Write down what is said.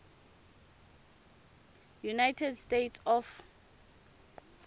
eunited states of